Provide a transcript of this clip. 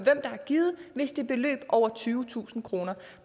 der har givet hvis det er beløb på over tyvetusind kroner